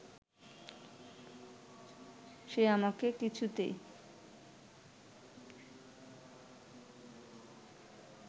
সে আমাকে কিছুতে